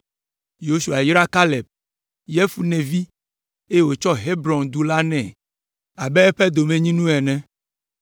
Yosua yra Kaleb, Yefune vi, eye wòtsɔ Hebron du la nɛ abe eƒe domenyinu ene.